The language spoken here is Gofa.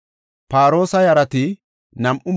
Paroosa yarati 2,172;